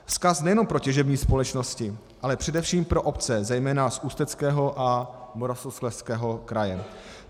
Vzkaz nejenom pro těžební společnosti, ale především pro obce, zejména z Ústeckého a Moravskoslezského kraje.